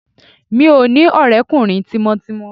Mi ò ní ọ̀rẹ́kùnrin tímọ́tímọ́